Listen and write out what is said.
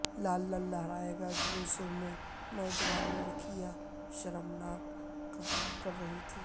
لال لال لہرائے گا کے جلسوں میں نوجوان لڑکیاں کیا شرمناک کام کر رہی تھیں